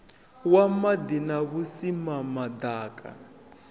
wa maḓi na vhusimama ḓaka